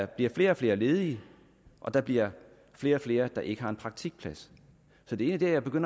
bliver flere og flere ledige og der bliver flere og flere der ikke har en praktikplads det er derfor